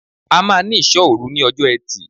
A máa ní Ìṣọ́òru ní ọjọ́ Ẹtì.